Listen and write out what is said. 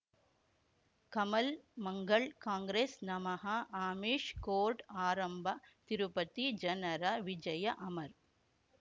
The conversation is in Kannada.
ಕಮಲ್ ಮಂಗಳ್ ಕಾಂಗ್ರೆಸ್ ನಮಃ ಅಮಿಷ್ ಕೋರ್ಟ್ ಆರಂಭ ತಿರುಪತಿ ಜನರ ವಿಜಯ ಅಮರ್